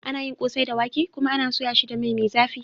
Ana yi kosai da wake, kuma ana soya shi da mai mai zafi.